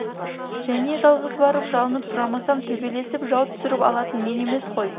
және жалғыз барып жалынып сұрамасам төбелесіп жау түсіріп алатын мен емес қой